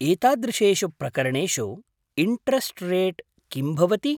एतादृशेषु प्रकरणेषु interest rate किं भवति?